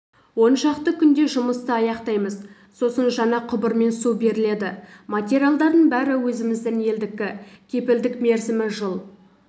оншақты күнде жұмысты аяқтаймыз сосын жаңа құбырмен су беріледі материалдардың бәрі өзіміздің елдікі кепілдік мерзімі жыл